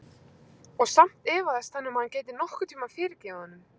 Og samt efaðist hann um að hann gæti nokkurn tíma fyrirgefið honum.